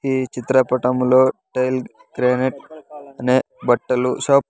ఈ చిత్రపటంలో tile granite అనే బట్టలు షాప్ .